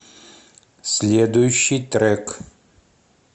следующий трек